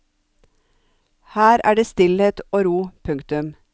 Her er det stillhet og ro. punktum